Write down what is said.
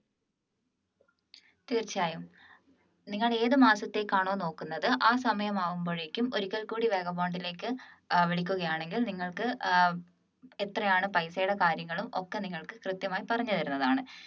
തീർച്ചയായും നിങ്ങൾ ഏത് മാസത്തേക്കാണോ നോക്കുന്നത് ആ സമയം ആവുമ്പോഴേക്കും ഒരിക്കൽ കൂടി വാഗാബോണ്ടിലേക്ക് വിളിക്കുകയാണെങ്കിൽ നിങ്ങൾക്ക് ഏർ എത്രയാണ് പൈസയുടെ കാര്യങ്ങളും ഒക്കെ നിങ്ങൾക്ക് കൃത്യമായി പറഞ്ഞു തരുന്നതാണ്